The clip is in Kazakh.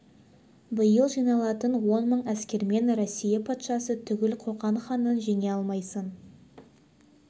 биыл жиналатын он мың әскермен россия патшасы түгіл қоқан ханын жеңе алмайсың